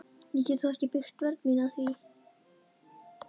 Ég get þó ekki byggt vörn mína á því.